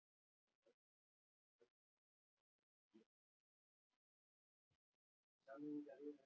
Hann kom inná og stóð sig vel.